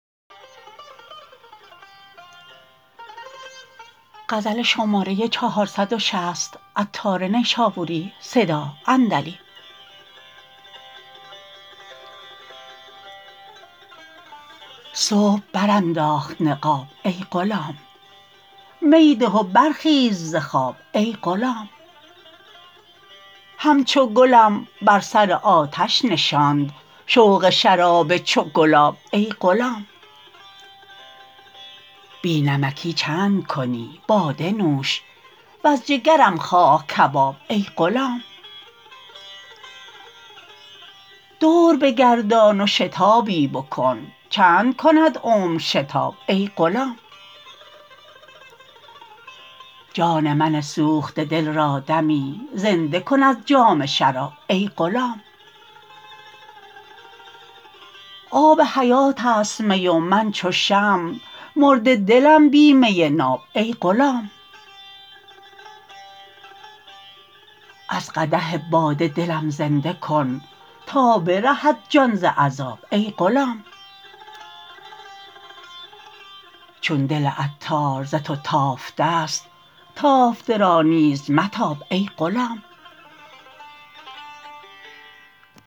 صبح برانداخت نقاب ای غلام می ده و برخیز ز خواب ای غلام همچو گلم بر سر آتش نشاند شوق شراب چو گلاب ای غلام بی نمکی چند کنی باده نوش وز جگرم خواه کباب ای غلام دور بگردان و شتابی بکن چند کند عمر شتاب ای غلام جان من سوخته دل را دمی زنده کن از جام شراب ای غلام آب حیات است می و من چو شمع مرده دلم بی می ناب ای غلام از قدح باده دلم زنده کن تا برهد جان ز عذاب ای غلام چون دل عطار ز تو تافته است تافته را نیز متاب ای غلام